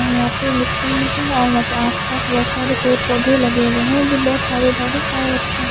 और यहां पे मिट्टी भी है और यहां पे आसपास बहुत सारे पेड़ पौधे लगे हुए हैं जो बहुत हरे भरे और अच्छे हैं।